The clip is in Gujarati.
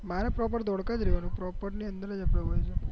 મારે પ્રોપેર ધોળકા જ રેવાનું